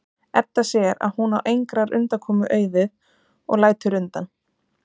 Edda sér að hún á engrar undankomu auðið og lætur undan.